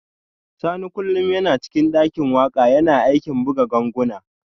Sani kullum yana cikin dakin waka yana aikin buga ganguna